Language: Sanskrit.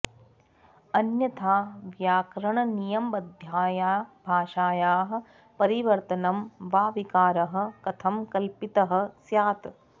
अन्यथा व्याकरणनियमबद्धाया भाषायाः परिवर्तनं वा विकारः कथं कल्पितः स्यात्